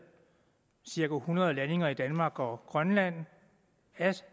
cirka hundrede landinger i danmark og grønland af